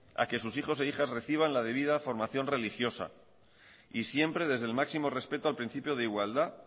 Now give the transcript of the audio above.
a que sus hijos e hijas reciban la debida formación religiosa y siempre desde el máximo respecto al principio de igualdad